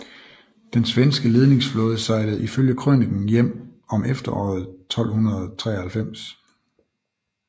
Den svenske ledingsflåde sejlede ifølge krøniken hjem om efteråret 1293